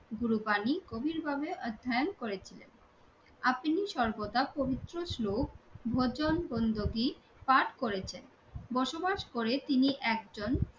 গুরু পানি গভীর ভাবে অধ্যায়ন করেছিলেন। আপনি সর্বদা পবিত্র শ্লোক ভজন গন্ধবীর পাঠ করেছেন। বসবাস করে তিনি একজন